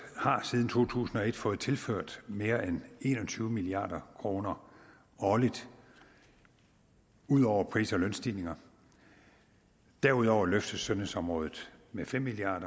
har siden to tusind og et fået tilført mere end en og tyve milliard kroner årligt ud over pris og lønstigninger derudover løftes sundhedsområdet med fem milliard